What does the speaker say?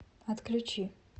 отключи